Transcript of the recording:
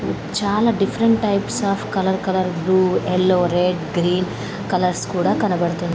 చాలా different types of colour colour blue yellow red green colours కూడా కనబడుతున్నా--